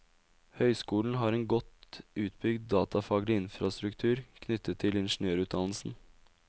Høyskolen har en godt utbygd datafaglig infrastruktur knyttet til ingeniørutdannelsen.